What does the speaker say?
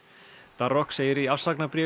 darroch segir í